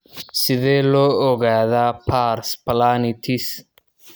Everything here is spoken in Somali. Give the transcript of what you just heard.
Sidee loo ogaadaa pars planitis?